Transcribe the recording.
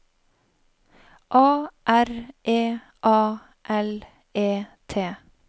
A R E A L E T